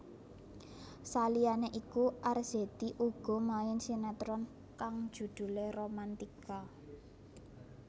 Saliyane iku Arzetti uga main sinetron kang judhulé Romantika